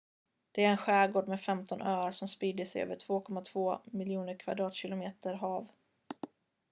det är en skärgård med 15 öar som sprider sig över 2,2 miljoner kvadratkilometer hav